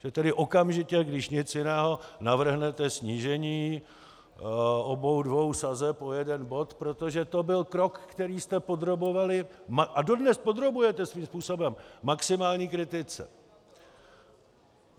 Že tedy okamžitě, když nic jiného, navrhnete snížení obou dvou sazeb o jeden bod, protože to byl krok, který jste podrobovali a dodnes podrobujete svým způsobem maximální kritice.